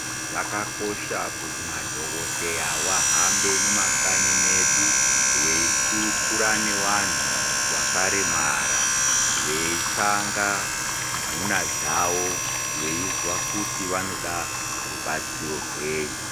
Zvakakosha kuti madhogodheya vahambe mumakanyi medu veikurukura nevanhu vakaremara veitsvaga nduna dzawo veinzwa kuti vanoda rubatsiro rwei.